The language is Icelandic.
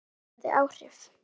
Þetta hafði áhrif.